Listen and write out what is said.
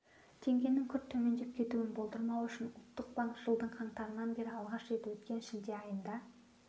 теңгенің күрт төмендеп кетуін болдырмау үшін ұлттық банк жылдың қаңтарынан бері алғаш рет өткен шілде айында